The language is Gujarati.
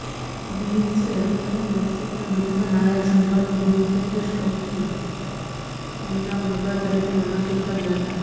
વ્હિગ્સે અન્ય મેક્સીકન યુદ્ધના નાયક જનરલ વિનફીલ્ડ સ્કોટને તેમના ઉમેદવાર તરીકે નામાંકિત કર્યા હતા